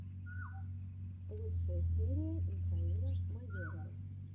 лучшая серия михаила майорова